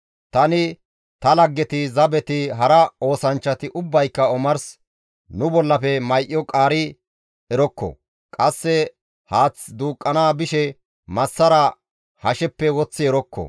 Tani, ta laggeti, zabeti, hara oosanchchati ubbayka omars nu bollafe may7o qaari erokko; qasse haath duuqqana bishe massara hasheppe woththi erokko.